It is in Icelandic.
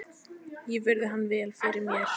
Ég virði hann vel fyrir mér.